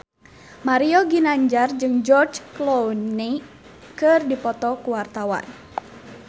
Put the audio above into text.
Mario Ginanjar jeung George Clooney keur dipoto ku wartawan